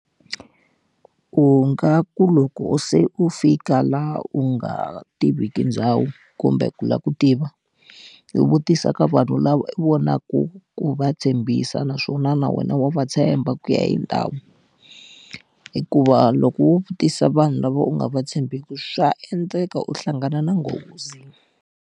U nga ku loko se u fika laha u nga tiviki ndhawu kumbe ku lava ku tiva, u vutisa ka vanhu lava vonaku ku va tshembisa naswona na wena wa va tshemba ku ya hi ndhawu. Hikuva loko wo vutisa vanhu lava u nga va tshembeki swa endleka u hlangana na nghozi.